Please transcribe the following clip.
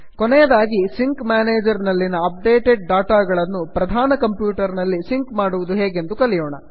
ಕೊನೆಯದಾಗಿ sync manager ನಲ್ಲಿನ updated data ಗಳನ್ನು ಪ್ರಧಾನ ಕಂಪ್ಯೂಟರ್ ನಲ್ಲಿ ಸಿಂಕ್ ಮಾಡುವುದು ಹೇಗೆಂದು ಕಲಿಯೋಣ